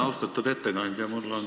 Austatud ettekandja!